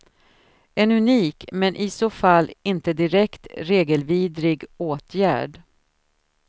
En unik, men i så fall inte direkt regelvidrig, åtgärd.